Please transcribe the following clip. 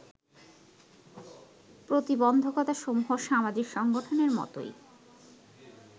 প্রতিবন্ধকতাসমূহ সামাজিক সংগঠনের মতোই